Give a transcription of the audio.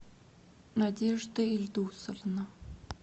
надежда ильдусовна